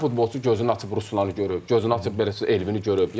Hər futbolçu gözünü açıb Ruslanı görüb, gözünü açıb belə Elvini görüb.